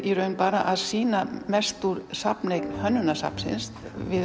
bara að sýna mest úr safneign Hönnunarsafnsins